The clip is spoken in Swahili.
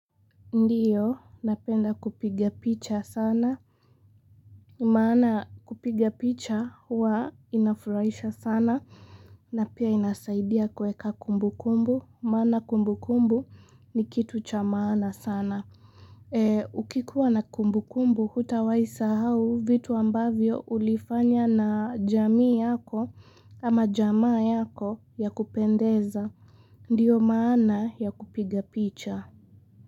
Ndiyo, napenda kupiga picha sana. Maana kupiga picha huwa inafuraisha sana na pia inasaidia kweka kumbu kumbu. Maana kumbu kumbu ni kitu cha maana sana. Ukikuwa na kumbu kumbu, huta waisahau vitu ambavyo ulifanya na jamii yako ama jamaa yako ya kupendeza. Ndiyo maana ya kupiga picha.